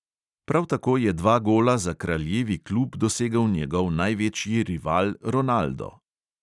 Prav tako je dva gola za kraljevi klub dosegel njegov največji rival ronaldo.